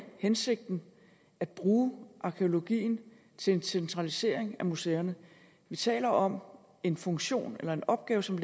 hensigten at bruge arkæologien til en centralisering af museerne vi taler om en funktion eller en opgave som